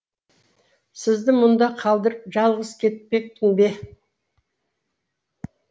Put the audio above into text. сізді мұнда қалдырып жалғыз кетпекпін бе